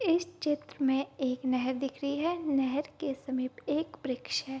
इस चित्र में एक नहर दिख रही है नहर के समीप एक वृक्ष है।